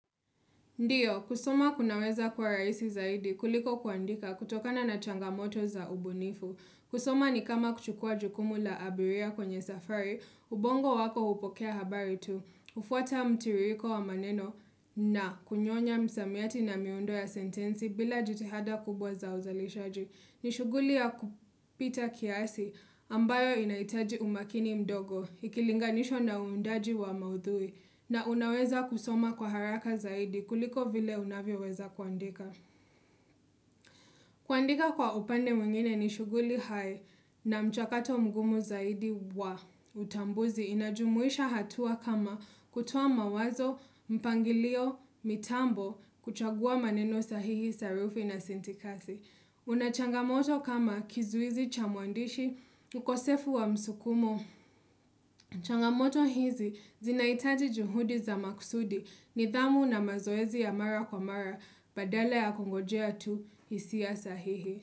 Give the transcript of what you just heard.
Ndiyo, kusoma kunaweza kuwa raisi zaidi kuliko kuandika kutokana na changamoto za ubunifu. Kusoma ni kama kuchukua jukumu la abiria kwenye safari, ubongo wako upokea habari tu. Ufuata mtiririko wa maneno na kunyonya msamiati na miundo ya sentensi bila jitihada kubwa za uzalishaji. Ni shuguli ya kupita kiasi ambayo inaitaji umakini mdogo, ikilinganishwa na uundaji wa maudhui. Na unaweza kusoma kwa haraka zaidi kuliko vile unavyoweza kuandika. Kuandika kwa upande mwingine ni shughuli hae na mchakato mgumu zaidi wa utambuzi. Inajumuisha hatua kama kutoa mawazo, mpangilio, mitambo, kuchagua maneno sahihi, sarufi na sintikasi. Una changamoto kama kizuizi cha mwandishi, ukosefu wa msukumo. Changamoto hizi zinaitaji juhudi za maksudi nidhamu na mazoezi ya mara kwa mara badala ya kongojea tu isia sahihi.